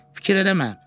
Fikir eləmə.